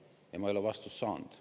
Ma ei ole sellele vastust saanud.